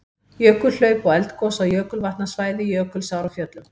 Jökulhlaup og eldgos á jökulvatnasvæði Jökulsár á Fjöllum.